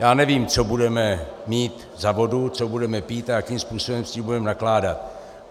Já nevím, co budeme mít za vodu, co budeme pít a jakým způsobem s tím budeme nakládat.